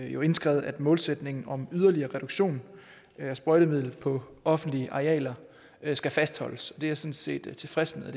jo indskrevet at målsætningen om yderligere reduktion af sprøjtemidlet på offentlige arealer skal fastholdes det er set tilfreds med